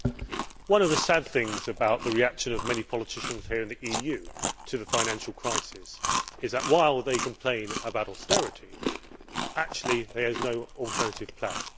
Mr President, one of the sad things about the reaction of many politicians here in the EU to the financial crisis is that, while they complain about austerity, there is actually no alternative plan.